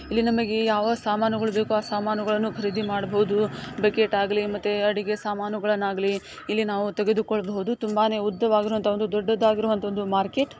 ಇಲ್ಲಿ ನಮಗೆ ಯಾವ ಸಾಮಾನುಗಳು ಬೇಕೋ ಆ ಸಾಮಾನುಗಳನ್ನು ಖರೀದಿ ಮಾಡ್ಬೋದು ಬಕೆಟ್ ಆಗ್ಲಿ ಮತ್ತೆ ಅಡುಗೆ ಸಾಮಾನು ಗಳ್ ಆಗ್ಲಿ ಇಲ್ಲಿ ನಾವು ತೆಗೆದುಕೊಳ್ಳ್ ಬೋದು ತುಂಬಾನೇ ಉದ್ದವಾಗಿರುವಂತ ದೊಡ್ದುದಾಗಿರೋಂತ ಒಂದು ಮಾರ್ಕೆಟ್ --